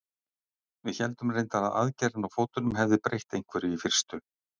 Við héldum reyndar að aðgerðin á fótunum hefði breytt einhverju í fyrstu.